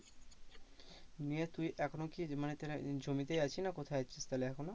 নিয়ে তুই এখনো কি মানে জমিতেই আছিস না কোথায় আছিস তাহলে এখনো?